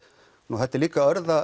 þetta er líka